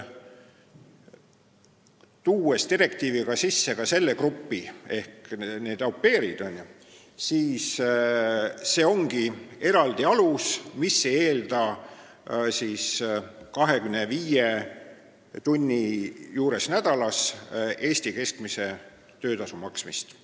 Kui direktiivi üle võttes tuuakse sisse ka au pair'id, siis see ongi eraldi alus, mis ei eelda nädalas kõige rohkem 25 tunni töötamise korral Eesti keskmise töötasu maksmist.